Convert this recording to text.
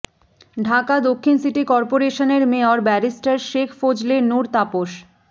ঢাকা দক্ষিণ সিটি করপোরেশনের mayor barrister Sheikh Fazle Noor Tapas